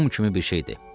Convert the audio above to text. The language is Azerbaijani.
Mum kimi bir şeydir.